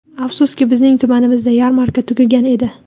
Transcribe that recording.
Afsuski, bizning tumanimizda yarmarka tugagan edi.